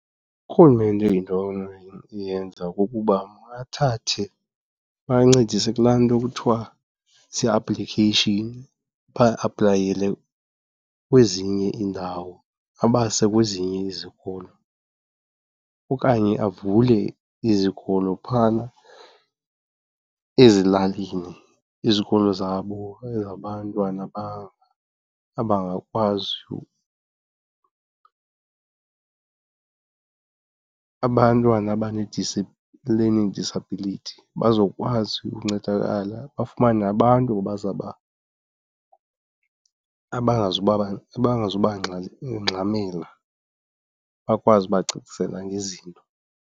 Urhulumente into anoyenza kukuba makathathe abancedise kulaa nto kuthiwa zi-application, aba-aplayele kwezinye iindawo, abase kwezinye izikolo. Okanye avule izikolo phana ezilalini, izikolo zabo, ezabantwana abangakwazi , abantwana learning disability, bazokwazi uncedakala bafumane nabantu abangazubangxamela bakwazi ubacacisela ngezinto.